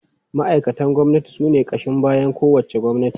Ma’aikatan gwamnati sune ƙashin bayan kowace gwamnati.